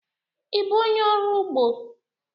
Ị bụ onye ọrụ ugbo?